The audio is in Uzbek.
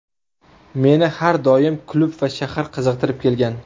Meni har doim klub va shahar qiziqtirib kelgan”.